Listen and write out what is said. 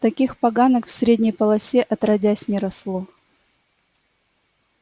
таких поганок в средней полосе отродясь не росло